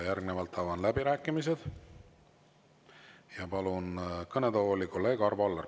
Järgnevalt avan läbirääkimised ja palun kõnetooli kolleeg Arvo Alleri.